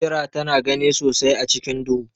Kira tana gani sosai a cikin duhu.